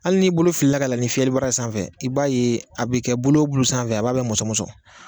Hali n'i bolo filila ka yɛlɛn ni fiyɛlibara ye sanfɛ i b'a ye a bɛ kɛ bulu o bulu sanfɛ b'a bɛɛ musɔnmɔsɔn